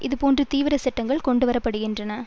இது போன்ற தீவிர சட்டங்கள் கொண்டுவரப்படுகின்றன